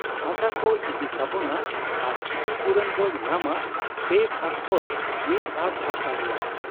ᱦᱟᱥᱟᱠᱚ ᱤᱫᱤ ᱛᱟᱵᱚᱱᱟ ᱟᱨ ᱠᱷᱤᱛᱤᱯᱩᱨᱚᱱ ᱵᱚ ᱧᱟᱢᱟ ᱯᱮ ᱵᱷᱟᱜᱽ ᱠᱷᱚᱱ ᱢᱤᱫ ᱵᱷᱟᱜᱽ ᱦᱟᱥᱟ ᱨᱮᱭᱟᱜ ᱾